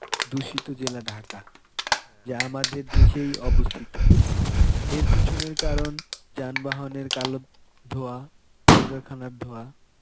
দূষিত জেলা ঢাকা. যা আমাদের দেশেই অবস্থিত. এর পিছনের কারণ যানবাহনের কালো ধোঁয়া, কল কারখানার ধোঁয়া.